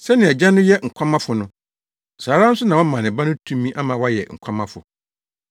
Sɛnea Agya no yɛ nkwamafo no, saa ara nso na wama ne Ba no tumi ama wayɛ nkwamafo.